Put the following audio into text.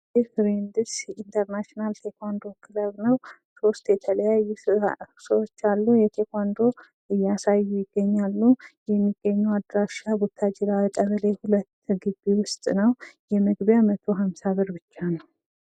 ይህ ፍሬንድስ ኢንተርናሽናል ቴኩዋንዶ ክለብ ነው ሶስት የተለያዩ ሰዎች አሉ ተኩዋንዶ እያሳዩ ይገኛሉ። የሚገኘው አድራሻ ቡታጅራ ቀበሌ ሁለት ግቢ ዉስጥ ነው የመግቢያ መቶሃምሳ ብር ብቻ ነው።